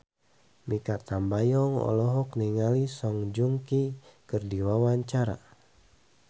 Mikha Tambayong olohok ningali Song Joong Ki keur diwawancara